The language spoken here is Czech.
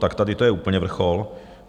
A tady to je úplně vrchol.